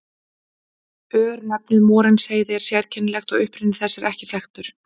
Örnefnið Morinsheiði er sérkennilegt og uppruni þess er ekki þekktur.